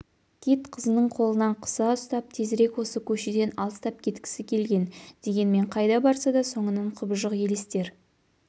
кит қызының қолынан қыса ұстап тезірек осы көшеден алыстап кеткісі келген дегенмен қайда барса да соңынан құбыжық елестер